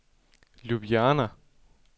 Ljubljana